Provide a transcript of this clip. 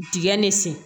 Digɛn ne sen